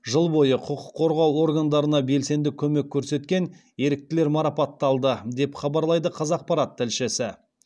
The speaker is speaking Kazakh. жыл бойы құқық қорғау органдарына белсенді көмек көрсеткен еріктілер марапатталды деп хабарлайды қазақпарат тілшісі